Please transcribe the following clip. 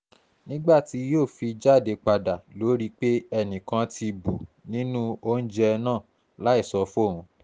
nígbà tí yóò fi jáde padà lọ rí i pé enìkan ti bù nínú oúnjẹ náà láì sọ fóun